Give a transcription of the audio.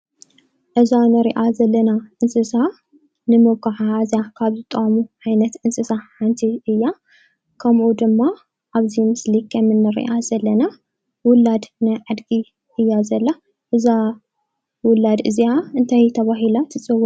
እዛ ንሪኣ ዘለና እንስሳ ንመጓዓዝያ ካብ ዝጠቅሙ ዓይነት እንስሳ ሓንቲ እያ። ከምኡ ድማ ኣብዚ ምስሊ ከም እንሪኣ ዘለና ዉላድ ናይ ኣድጊ እያ ዘላ። እዛ ዉላድ እዚኣ እንታይ ተባሂላ ትጽዋዕ?